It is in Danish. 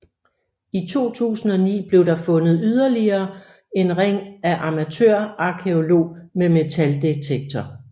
I 2009 blev der fundet yderligere en ring af en amatørarkæolog med metaldetektor